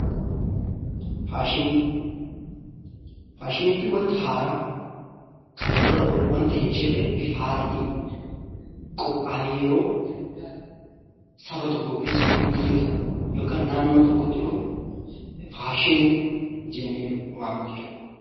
Faashinii jechuun wanta haaraa wanta kanaan dura hin jirre bifa haaraadhaan qophaa'ee saba tokko keessa yookiin naannoo tokko keessatti dhufu faashinii jennee waamna.